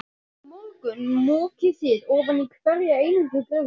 Á morgun mokið þið ofan í hverja einustu gryfju.